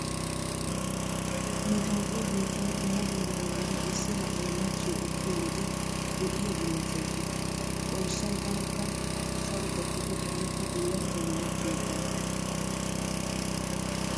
Nu toophphiya biittan dumma dumma heeran issi na'ay machchiyo ekkiyo wode lo'iya bullachchay kiyees. Xoossay tanakka saro gattikko taanikka bullachchan machchiyo ekkana.